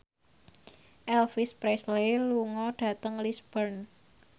Elvis Presley lunga dhateng Lisburn